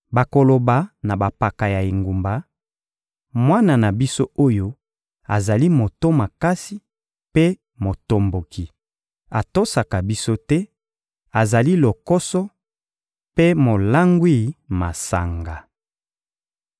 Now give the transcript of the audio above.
Bakoloba na bampaka ya engumba: «Mwana na biso oyo azali moto makasi mpe motomboki, atosaka biso te, azali lokoso mpe molangwi masanga.»